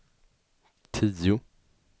tio